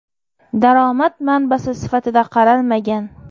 Daromad manbasi sifatida qaralmagan.